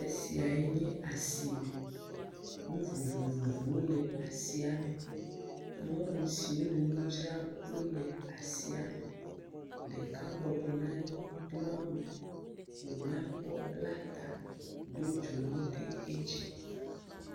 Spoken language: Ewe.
Teƒe sia ye nye asi me, nu vovovowo le asiame, nyɔnu siwo le nu dzram wole asiame, ɖeka bɔbɔ nɔ anyi do awu wo nyakpɔ bla ta do dzonu ɖe edzi.